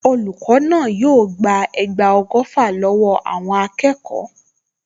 Olùkọ́ náà yóò gba ẹgba ọgọ́fà lọ́wọ́ àwọn akẹ́kọ̀ọ.